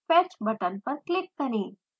fetch button पर click करें